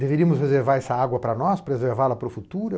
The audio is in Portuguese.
Deveríamos reservar essa água para nós, preservá-la para o futuro?